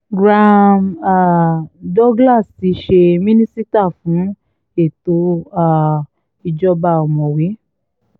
graham um douglas tí í ṣe mínísítà fún ètò um ìdájọ́ ọ̀mọ̀wé